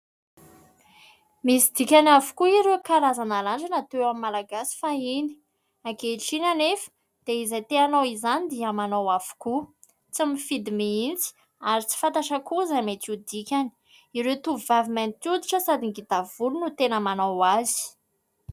Misy dikany avokoa ireo karazana randrana teo amin'ny Malagasy fahiny. Ankehitriny anefa dia izay te hanao izany dia manao avokoa, tsy mifidy mihintsy ary tsy fantatra koa izay mety ho dikany. Ireo tovovavy mainty hoditra sady ngita volo no tena manao azy.